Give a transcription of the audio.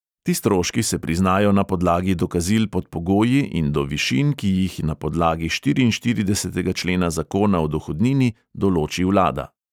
Ti stroški se priznajo na podlagi dokazil pod pogoji in do višin, ki jih na podlagi štiriinštiridesetega člena zakona o dohodnini določi vlada.